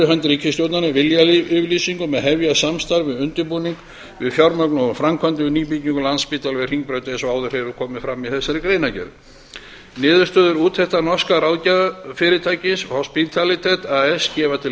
hönd ríkisstjórnarinnar viljayfirlýsingu um að hefja samstarf við undirbúning að fjármögnun og framkvæmdum við nýbyggingu landspítala við hringbraut eins og áður hefur komið fram niðurstöður úttektar norska ráðgjafarfyrirtækisins hospitalet as gefa til